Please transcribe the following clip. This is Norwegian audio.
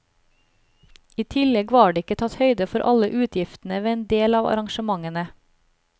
I tillegg var det ikke tatt høyde for alle utgiftene ved en del av arrangementene.